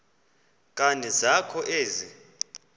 nkani zakho ezi